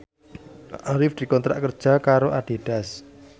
Arif dikontrak kerja karo Adidas